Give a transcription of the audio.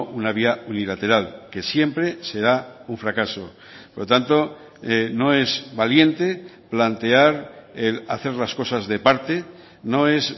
una vía unilateral que siempre será un fracaso por lo tanto no es valiente plantear el hacer las cosas de parte no es